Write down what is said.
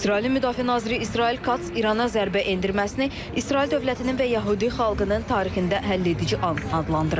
İsrailin Müdafiə naziri İsrail Kats İrana zərbə endirməsini İsrail dövlətinin və yəhudi xalqının tarixində həlledici an adlandırıb.